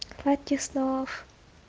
сладких снов